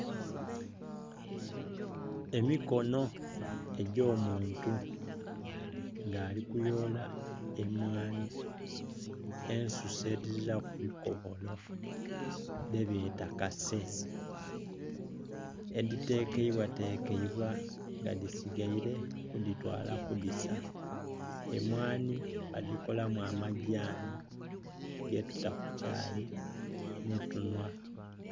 Emikono egy'omuntu nga ali kuyoola emwanhi ensise edhiziraku bikobola dhebeeta kase, edhitekeibwatekebwa nga dhisigaire kudhitwala kudhisa. Emwanhi badhikolamu amagyanhi getuta ku kyayi netunua.